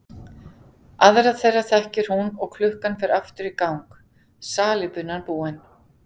Aðra þeirra þekkir hún og klukkan fer aftur í gang, salíbunan búin.